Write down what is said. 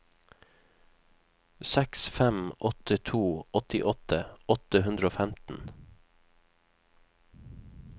seks fem åtte to åttiåtte åtte hundre og femten